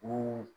U